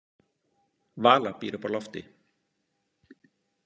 Vala býr uppi á lofti.